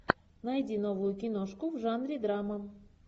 найди новую киношку в жанре драма